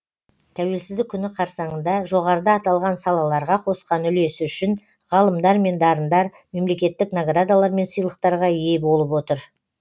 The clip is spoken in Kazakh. тәуелсіздік күні қарсаңында жоғарыда аталған салаларға қосқан үлесі үшін ғалымдар мен дарындар мемлекеттік наградалар мен сыйлықтарға ие болып отыр